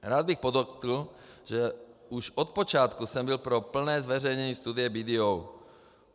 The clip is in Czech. Rád bych podotkl, že už od počátku jsem byl pro plné zveřejnění studie BDO.